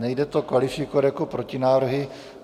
Nejde to kvalifikovat jako protinávrhy.